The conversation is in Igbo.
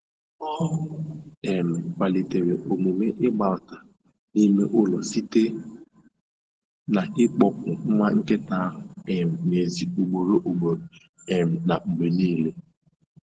Ọ um kwalitere omume ịgbabata n'ime ụlọ site na ịkpọpụ nwa nkịta ahụ um n'èzí ugboro ugboro um na mgbe niile